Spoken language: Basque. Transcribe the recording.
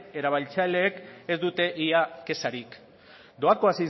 erabiltzaileek ez dute ia kexarik doako